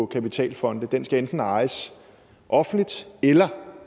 kapitalfonde den skal enten ejes offentligt eller